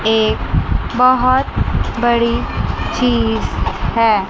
एक बहोत बड़ी चीज है।